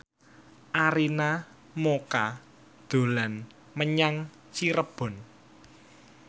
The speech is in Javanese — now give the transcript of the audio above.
Arina Mocca dolan menyang Cirebon